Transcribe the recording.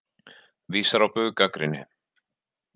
Vísar á bug gagnrýni